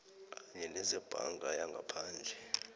kanye nezebhanka yangaphandle